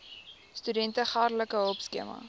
studente geldelike hulpskema